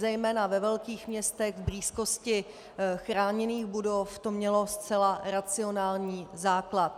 Zejména ve velkých městech v blízkosti chráněných budov to mělo zcela racionální základ.